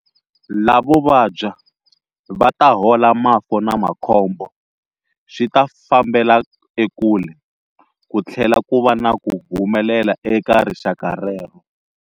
Lavo vabya va ta hola mafu na makhombo swi ta fambela ekule, ku tlhela ku va na ku humelela eka rixaka rero.